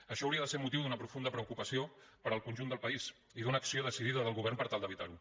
això hauria de ser motiu d’una profunda preocupació per al conjunt del país i d’una acció decidida del govern per tal d’evitar ho